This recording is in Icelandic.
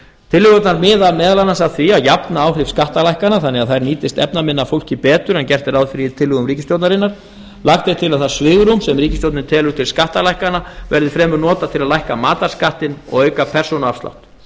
tillögurnar miða meðal annars að því að jafna áhrif skattalækkana þannig að þær nýtist efnaminna fólki betur en gert er ráð fyrir í tillögum ríkisstjórnarinnar lagt er til að það svigrúm sem ríkisstjórnin telur til skattalækkana verði fremur notað til að lækka matarskattinn og auka persónuafslátt